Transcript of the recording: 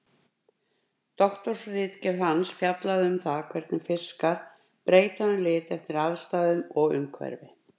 Doktorsritgerð hans fjallaði um það hvernig fiskar breyta um lit eftir aðstæðum og umhverfi.